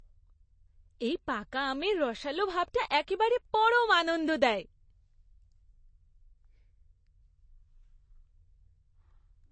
এই পাকা আমের রসালো ভাবটা একেবারে পরম আনন্দ দেয়।